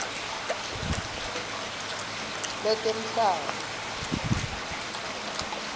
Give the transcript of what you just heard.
letemhlaba